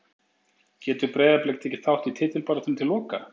Getur Breiðablik tekið þátt í titilbaráttunni til loka?